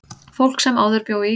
Fólk sem áður bjó í